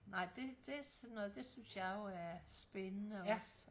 Nej det det sådan noget det synes jeg jo er spændende også